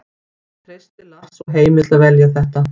Ég treysti Lars og Heimi til að velja þetta.